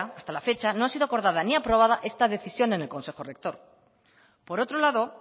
hasta la fecha no ha sido acordada ni aprobada esta decisión en el consejo rector por otro lado